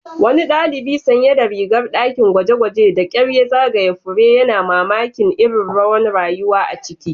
Wani dalibi sanye da rigar dakin gwaje-gwaje da kyar ya zagaya fure, yana mamakin irin rawan rayuwa a ciki.